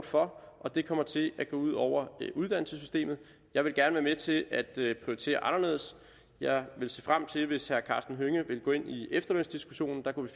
for og det kommer til at gå ud over uddannelsessystemet jeg vil gerne være med til at prioritere anderledes jeg ville se frem til hvis karsten hønge ville gå ind i efterlønsdiskussionen der kunne